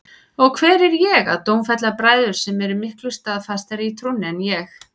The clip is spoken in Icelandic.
Og hver er ég að dómfella bræður sem eru miklu staðfastari í trúnni en ég?